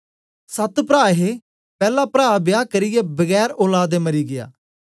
सत प्रा हे पैला प्रा बियाह करियै बगैर औलाद दे मरी गीया